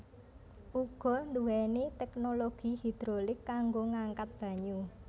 Uga nduwèni teknologi hidrolik kanggo ngangkat banyu